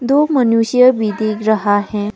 दो मनुष्य भी दिख रहा है।